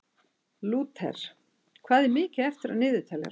Lúter, hvað er mikið eftir af niðurteljaranum?